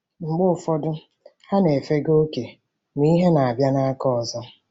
Mgbe ụfọdụ, ha na-efega oke, ma ihe na-abịa n’aka ọzọ.